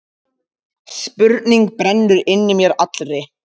Spurning brennur inn í mér allri.